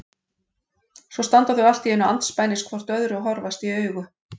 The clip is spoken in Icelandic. Svo standa þau allt í einu andspænis hvort öðru og horfast í augu.